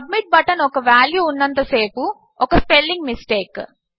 submit button కు value ఉన్నంత సేపు ఒక స్పెల్లింగ్ మిస్టేక్